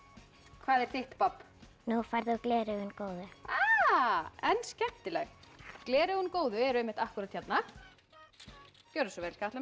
hvað er þitt babb nú færðu gleraugun góðu en skemmtilegt gleraugun góðu eru einmitt akkúrat hérna gjörðu svo vel Katla mín